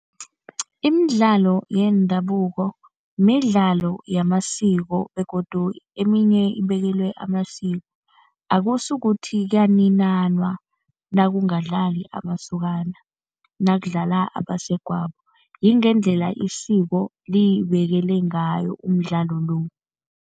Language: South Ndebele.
Imidlalo yendabuko midlalo yamasiko begodu eminye ibekelwe amasiko. Akusukuthi kuyaninanwa nakungadlali amasokana nakudlala abasegwabo, yingendlela isiko libekele ngayo umdlalo lo.